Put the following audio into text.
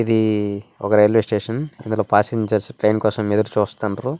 ఇది ఒక railway station. ఇందులో పాసింజర్స్ ట్రైన్ కోసం ఎదురుచూస్తున్నారు.